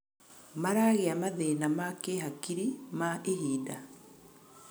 maragĩa mathĩna ma kĩhakiri ma ihinda